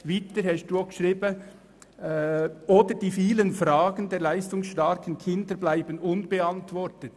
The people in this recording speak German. Weiter steht: «...oder die vielen Fragen der leistungsstarken Kinder bleiben unbeantwortet.